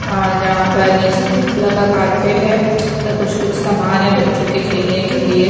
आज यहां पर नीचे ग्रीन कलर का कारपेट है व कुछ कुछ समान हैं बच्चों के खेलने के लिये।